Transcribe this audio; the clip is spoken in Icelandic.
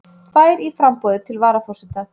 Tvær í framboði til varaforseta